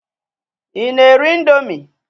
Ị na-eri ị̀ndómị́?